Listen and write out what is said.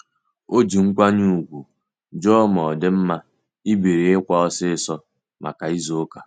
O ji nkwanye ùgwù jụọ ma ọ dị mma ibiri ịkwa osisi maka izu ụka.